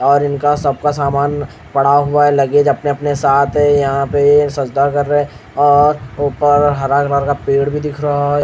और इनका सबका सामान पड़ा हुआ है लगेज अपने-अपने साथ है यहाँ पे सजदा कर रहे हैं और ऊपर हरा कलर का पेड़ भी दिख रहा है।